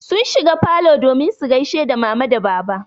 Sun shigo falo domin su gaishe da mama da baba.